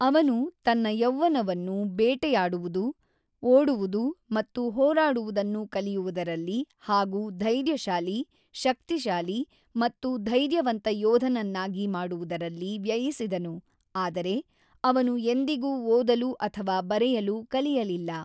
ಅವನು ತನ್ನ ಯೌವ್ವನವನ್ನು, ಬೇಟೆಯಾಡುವುದು, ಓಡುವುದು ಮತ್ತು ಹೋರಾಡುವುದನ್ನು ಕಲಿಯುವುದರಲ್ಲಿ ಹಾಗೂ ಧೈರ್ಯಶಾಲಿ, ಶಕ್ತಿಶಾಲಿ ಮತ್ತು ಧೈರ್ಯವಂತ ಯೋಧನನ್ನಾಗಿ ಮಾಡುವುದರಲ್ಲಿ ವ್ಯಯಿಸಿದನು ಆದರೆ ಅವನು ಎಂದಿಗೂ ಓದಲು ಅಥವಾ ಬರೆಯಲು ಕಲಿಯಲಿಲ್ಲ.